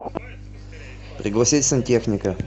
пригласи сантехника